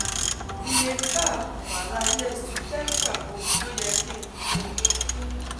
Iye pack wàrà Nestle tetra wo lo yẹ kí n fún?